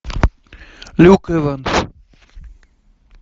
люк эванс